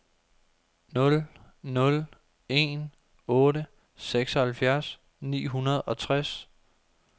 nul nul en otte seksoghalvfjerds ni hundrede og tres